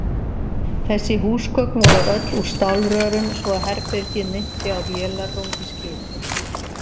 Þessi húsgögn voru öll úr stálrörum svo að herbergið minnti á vélarrúm í skipi.